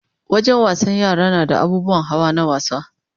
Wajen wasan yara nada abubuwan hawa na wasa